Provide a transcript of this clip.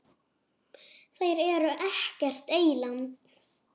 Þeir eru ekkert eyland.